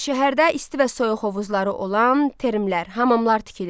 Şəhərdə isti və soyuq hovuzları olan termlər, hamamlar tikilirdi.